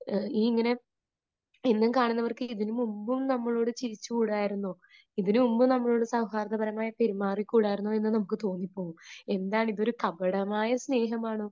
അപ്പൊ ഈ ഇങ്ങനെ എന്നും കാണുന്നവർക്ക് ഇതിനുമുൻപും നമ്മളോട് ചിരിച്ചു കൂടായിരുന്നോ? ഇതിനു മുൻപും നമ്മളോട് സൗഹാർദ്ദപരമായി പെരുമാറി കൂടായിരുന്നോ എന്ന് നമുക്ക് തോന്നിപ്പോകും. എന്താണ്, ഇതൊരു കപടമായ സ്നേഹം ആണോ?